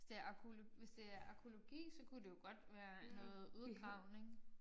Hvis det er hvis det er arkæologi så kunne det jo godt være noget udgravning